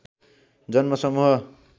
जन्म समूह